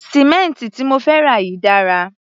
Sì̀mẹ́ǹtì tí mo fẹ́ rà yìí dára.